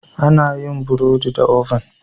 Ana yin yin burodi da "oven".